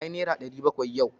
Nayi naira ɗari bakwai yau.